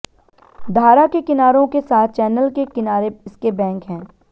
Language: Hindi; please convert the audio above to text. धारा के किनारों के साथ चैनल के किनारे इसके बैंक हैं